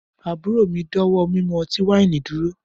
Aburo mi dawọ mimu ọti-waini duro.